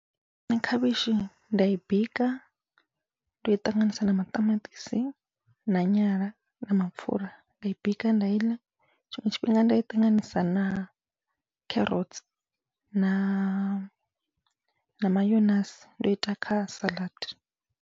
Nṋe khavhishi nda i bika ndo i ṱanganisa na maṱamaṱisi na nyala na mapfhura nda i bika nda iḽa, tshiṅwe tshifhinga nda i ṱanganisa na kherotsi na mayonasi ndo ita kha saḽadi.